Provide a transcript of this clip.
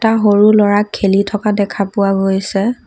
সৰু ল'ৰাক খেলি থকা দেখা পোৱা গৈছে।